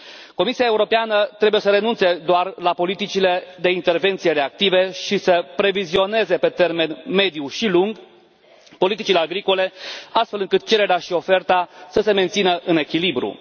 Comisia Europeană trebuie să renunțe doar la politicile de intervenție reactive și să previzioneze pe termen mediu și lung politicile agricole, astfel încât cererea și oferta să se mențină în echilibru.